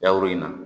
Yawuru in na